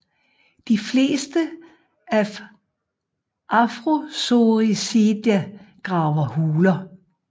De fleste af Afrosoricida graver huler